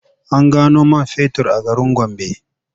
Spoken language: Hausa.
An gano man fetur a garin Gombe.